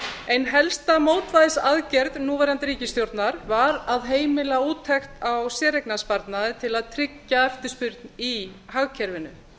ein helsta mótvægisaðgerð núverandi ríkisstjórnar var að heimila úttekt á séreignarsparnaði til að tryggja eftirspurn í hagkerfinu